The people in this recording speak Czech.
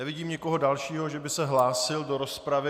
Nevidím nikoho dalšího, že by se hlásil do rozpravy.